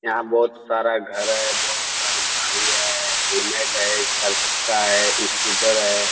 यहाँ बहुत सारा घर है बहुत सारी गाड़ी है हेलमेट है चार चक्का है स्कूटर है।